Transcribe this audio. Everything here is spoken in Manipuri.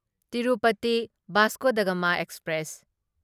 Tirupati Vasco da Gama express